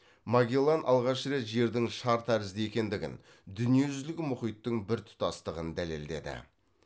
магеллан алғаш рет жердің шар тәрізді екендігін дүниежүзілік мұхиттың біртұтастығын дәлелдеді